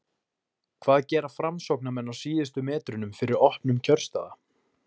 hvað gera framsóknarmenn á síðustu metrunum fyrir opnun kjörstaða?